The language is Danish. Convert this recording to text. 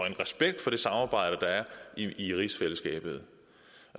en respekt for det samarbejde der er i rigsfællesskabet